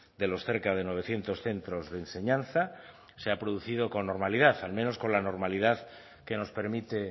de los cerca de novecientos centros de enseñanza se ha producido con normalidad al menos con la normalidad que nos permite